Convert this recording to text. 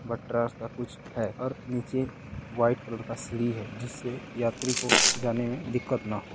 बटरा सा कुछ है और नीचे वाइट कलर का सीढ़ी है जिससे यात्री को जाने में दिक्कत ना हो।